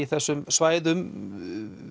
þessum svæðum